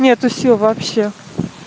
нету сил вообще